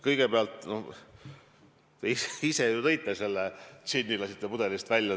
Kõigepealt, te ise ju lasksite džinni pudelist välja.